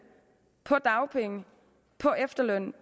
på dagpenge på efterløn